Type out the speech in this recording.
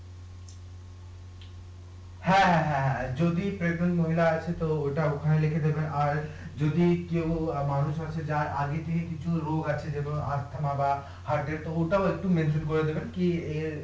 হ্যাঁ হ্যাঁ হ্যাঁ হ্যাঁ যদি মহিলা আছে তো ওটা ওখানে লিখে দেবে আর যদি কেউ মানুষ আছে যার আগে থেকে কিছু রোগ আছে যেমন ওটাও একটু করে দেবেন কি